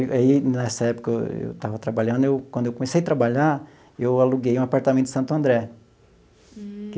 E aí, nessa época, eu estava trabalhando eu quando eu comecei a trabalhar, eu aluguei um apartamento em Santo André.